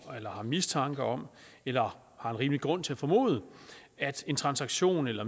eller har mistanke om eller har en rimelig grund til at formode at en transaktion eller